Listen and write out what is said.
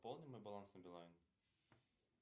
пополни мой баланс на билайн